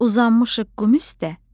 Uzanmışıq qum üstdə,